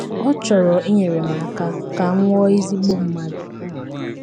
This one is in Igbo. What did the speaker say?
Ọ chọrọ inyere m aka ka m ghọọ ezigbo mmadụ. ”